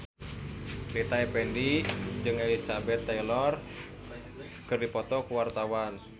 Rita Effendy jeung Elizabeth Taylor keur dipoto ku wartawan